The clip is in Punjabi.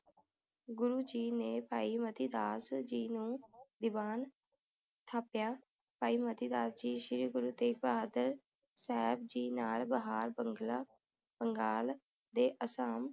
ਗੁਰੂ ਜੀ ਨੇ ਭਾਈ ਮਤੀ ਦਾਸ ਜੀ ਨੂੰ ਦੀਵਾਨ ਥਾਪਿਆ ਭਾਈ ਮਤੀ ਦਾਸ ਜੀ ਸ਼੍ਰੀ ਗੁਰੂ ਤੇਗ਼ ਬਹਾਦਰ ਸਾਹਿਬ ਜੀ ਨਾਲ ਬਹਾਰ ਬੰਗਲਾ ਬੰਗਾਲ ਤੇ ਅਸਾਮ